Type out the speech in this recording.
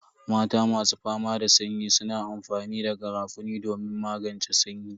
Mata masu fama da sanyi suna amfani da garafuni domin magance sanyi.